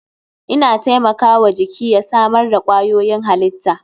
Ina taimaka wa jiki ya samar da kwayoyin halitta.